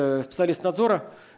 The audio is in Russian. специалист надзора